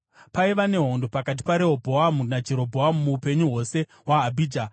Paiva nehondo pakati paRehobhoamu naJerobhoamu muupenyu hwose hwaAbhija.